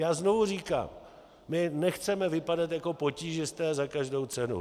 Já znovu říkám, my nechceme vypadat jako potížisté za každou cenu.